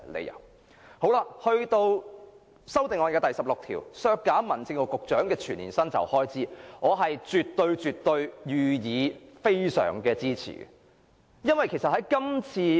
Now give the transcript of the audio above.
有關修正案編號 16， 建議削減民政事務局局長的全年薪酬開支，我絕對予以大力支持。